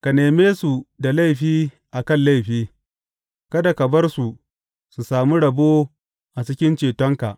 Ka neme su da laifi a kan laifi; kada ka bar su su sami rabo a cikin cetonka.